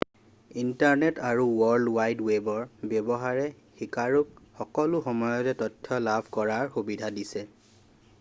internet আৰু world wide ৱেবৰ ব্যৱহাৰে শিকাৰুক সকলো সময়তে তথ্য লাভ কৰাৰ সুবিধা দিছে